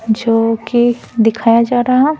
जो कि दिखाया जा रहा --